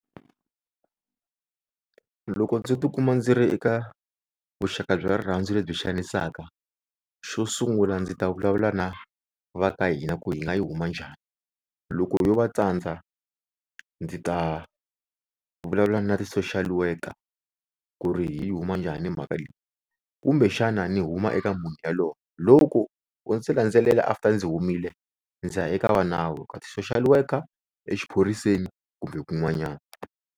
Loko ndzi tikuma ndzi ri eka vuxaka bya rirhandzu lebyi xanisaka, xo sungula ndzi ta vulavula na va ka hina ku hi nga yi huma njhani. Loko yo va tsandza ndzi ta vulavula na ti social worker ku ri hi yi huma njhani mhaka leyi. Kumbexana ni huma eka munhu yaloye loko o ndzi landzelela after ndzi humile ndzi ya eka va nawu ka ti social worker exiphoriseni kumbe kun'wanyana.